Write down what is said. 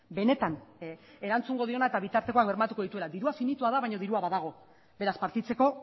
benetan erantzungo diona eta bitartekoak bermatuko dituena dirua finitua da baina dirua badago beraz partitzeko